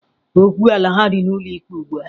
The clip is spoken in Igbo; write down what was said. Okwu ala ha dị n'ụlọ ikpe ugbua.